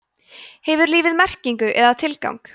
hefur lífið merkingu eða tilgang